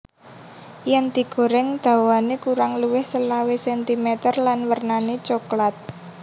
Yen digoreng dhawane kurang luwih selawe centimeter lan wernane cokelat